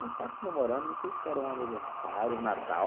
Nós estávamos comemorando, não sei se era um aniversário, um Natal.